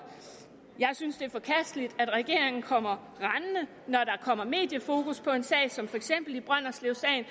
jeg synes det er forkasteligt at regeringen kommer mediefokus på en sag som for eksempel i brønderslevsagen